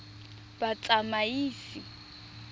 batsamaisi